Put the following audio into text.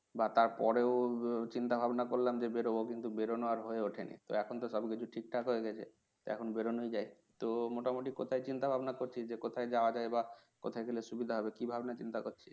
বা তার পরেও উহ চিন্তাভাবনা করলাম যে বেরোবো কিন্তু বেরোনোর হয়ে ওঠেনি তো এখন তো সবকিছু ঠিকঠাক হয়ে গেছে এখন বেরোনোই যায় তো মোটামুটি কোথা চিন্তা-ভাবনা করছিস যে কোথায় যাওয়া যায় বা কোথায় গেলে সুবিধা হবে কি ভাবনা চিন্তা করছিস